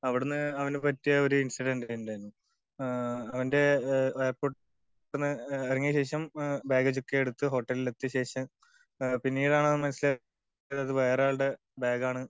അവിടന്ന് അവന്ന് പറ്റിയ ഒരു ഇൻസിഡന്റ്റ് ഇണ്ടാർന്നു. അവൻ്റെ എയർപോർട്ടിന്ന് ഇറങ്ങിയ ശേഷം ബാഗ് ചെക്ക് ചെയ്യാതെ എടുത്ത് ഹോട്ടൽ എത്തിയ ശേഷം പിന്നീടാണ് അവൻ മനസിലാകുന്നത് അത് വേറെ ആളുടെ ബാഗാണ്